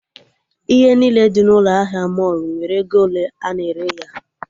Ihe niile dị n'ụlọ ahịa mọlụ nwere ego ole a na-ere ya